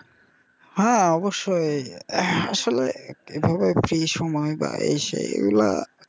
হ্যা অবশ্যই আসলে একটা এইভাবে free সময় যায় সেইগুলা,